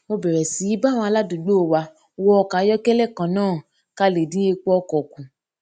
mo bèrè sí í bá àwọn aládùúgbò wa wọ ọkò ayókélé kan náà ká lè dín epo ọkò kù